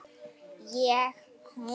Ég hún.